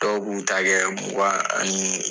Dɔw b'u ta kɛ mugan ani